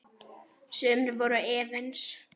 Sumir voru efins.